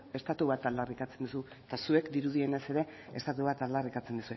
estatu bat aldarrikatzen duzu eta zuek dirudienez ere estatu bat aldarrikatzen